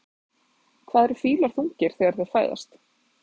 Hvað eru fílar þungir þegar þeir fæðast?